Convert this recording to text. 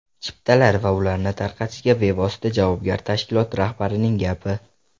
Chiptalar va ularni tarqatishga bevosita javobgar tashkilot rahbarining gapi!